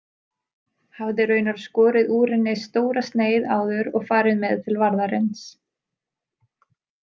Hafði raunar skorið úr henni stóra sneið áður og farið með til varðarins.